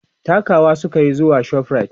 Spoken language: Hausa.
takawa sukayi zuwa Shoprite